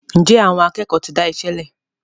njé Àwọn akékòó tí dáiṣélè?